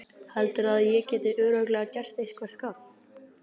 Heldurðu að ég geti örugglega gert eitthvert gagn?